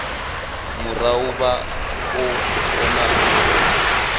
murahu vha o kona u